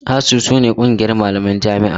ASUU su ne ƙungiyar malaman jami'a.